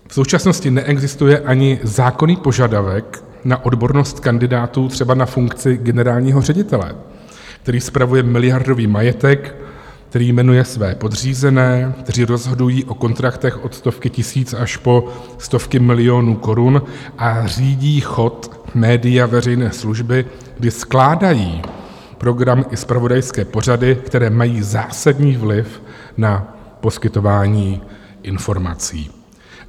V současnosti neexistuje ani zákonný požadavek na odbornost kandidátů třeba na funkci generálního ředitele, který spravuje miliardový majetek, který jmenuje své podřízené, kteří rozhodují o kontraktech od stovky tisíc až po stovky milionů korun a řídí chod média veřejné služby, kdy skládají program i zpravodajské pořady, které mají zásadní vliv na poskytování informací.